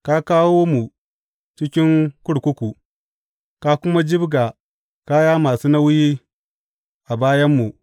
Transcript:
Ka kawo mu cikin kurkuku ka kuma jibga kaya masu nauyi a bayanmu.